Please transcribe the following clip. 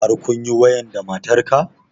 Har kunyi wayan da matar ka?